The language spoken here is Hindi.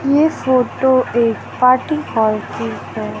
ये फोटो एक पार्टी हॉल की है।